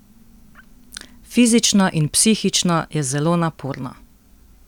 Fizično in psihično je zelo naporno.